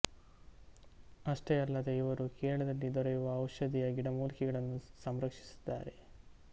ಅಷ್ಟೇ ಅಲ್ಲದೆ ಇವರು ಕೇರಳದಲ್ಲಿ ದೊರೆಯುವ ಔಷಧಿಯ ಗಿಡಮೂಲಿಕೆಗಳನ್ನು ಸಂರಕ್ಷಿಸಿದ್ದಾರೆ